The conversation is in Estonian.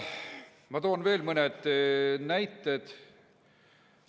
Ma toon veel mõned näited.